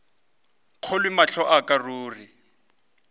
kgolwe mahlo a ka ruri